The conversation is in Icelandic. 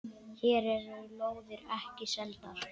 Hér eru lóðir ekki seldar.